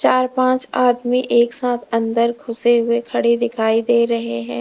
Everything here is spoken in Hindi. चार पांच आदमी एक साथ अंदर घुसे हुए खड़े दिखाई दे रहे हैं।